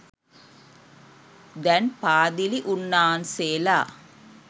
දැන් පාදිලි උන්නාන්සේලා